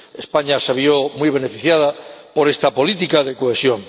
España se vio muy beneficiada por esta política de cohesión.